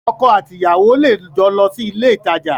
Ọkọ àti ìyàwó lè jọ lọ sí ilé ìtajà